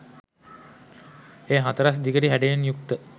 එය හතරැස් දිගටි හැඩයෙන් යුක්ත